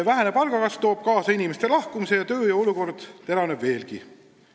Vähene palgakasv toob kaasa inimeste lahkumise ja tööjõupuudus teravneb veelgi.